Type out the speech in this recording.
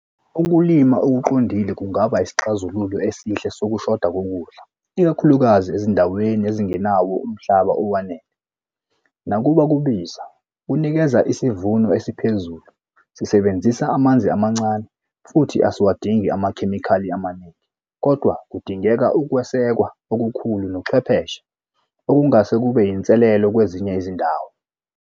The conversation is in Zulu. Ukulima okuqondile kungaba isixazululo esihle sekushoda kokudla, ikakhulukazi ezindaweni ezingenawo umhlaba owanele. Nakuba kubiza, kunikeza isivuno esiphezulu, sisebenzisa amanzi amancane, futhi asiwadingi amakhemikhali amaningi, kodwa kudingeka ukwesekwa okukhulu nochwepheshe okungase kube yinselelo kwezinye izindawo.